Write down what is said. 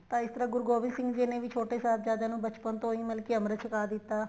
ਤਾਂ ਇਸ ਤਰ੍ਹਾਂ ਗੁਰੂ ਗੋਬਿੰਦ ਸਿੰਘ ਜੀ ਨੇ ਛੋਟੋ ਸਾਹਿਬਜ਼ਾਦੇ ਨੂੰ ਬਚਪਣ ਤੋ ਹੀ ਮਤਲਬ ਕੀ ਅਮ੍ਰਿਤ ਛਕਾ ਦਿੱਤਾ